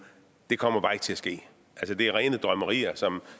det kommer bare ikke til at ske det er rene drømmerier som